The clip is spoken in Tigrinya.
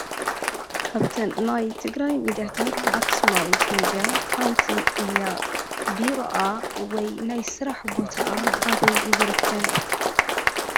ካብተን ናይ ትግራይ ሚድያታት ኣኽሱማዊት ሚድያ ሓንቲ እያ፡፡ ቢሮኣ ወይ ናይ ስራሕ ቦትኣ ኣበይ ይርከብ?